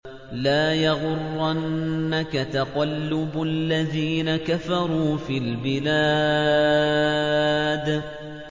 لَا يَغُرَّنَّكَ تَقَلُّبُ الَّذِينَ كَفَرُوا فِي الْبِلَادِ